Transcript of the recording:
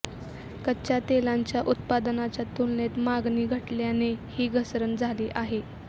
कच्चा तेलांच्या उत्पादनाच्या तुलनेत मागणी घटल्याने ही घसरण झाली आहे